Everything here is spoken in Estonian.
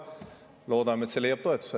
Loodame, et see leiab toetust.